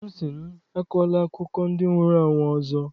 Nna m sị m, akọla akụkọ ndị nwụrụ anwụ ọzọ!